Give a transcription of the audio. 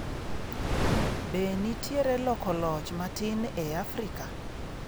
Be nitiere loko loch matin e Afrika?